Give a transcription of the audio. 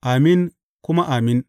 Amin kuma Amin.